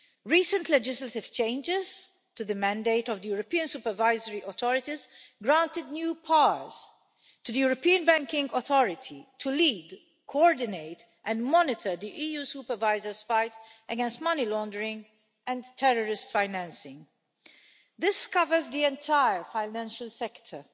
Recent legislative changes to the mandate of the European supervisory authorities granted new powers to the European Banking Authority to lead, coordinate and monitor the EU Supervisor's fight against money laundering and terrorist financing. This covers the entire financial sector.